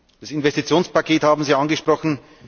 Das Investitionspaket haben Sie angesprochen.